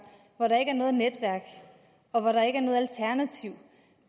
hvor der ikke er noget netværk og hvor der ikke er noget alternativ